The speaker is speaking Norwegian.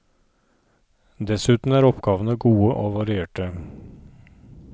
Dessuten er oppgavene gode og varierte.